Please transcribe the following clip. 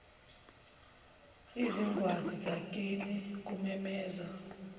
izingwazi zakini kumemeza